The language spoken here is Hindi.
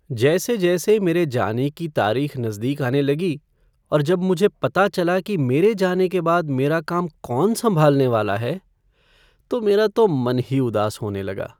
जैसे जैसे मेरे जाने की तारीख नज़दीक आने लगी और जब मुझे पता चला कि मेरे जाने के बाद मेरा काम कौन संभालने वाला है, तो मेरा तो मन ही उदास होने लगा।